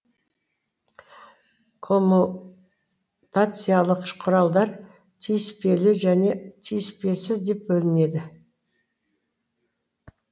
коммутациялық құралдар түйіспелі және түйіспесіз деп бөлінеді